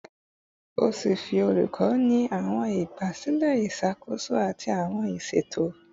Ọfiisi olukọ ni awọn igbasilẹ iṣakoso ati awọn iṣeto